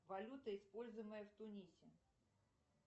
валюта используемая в тунисе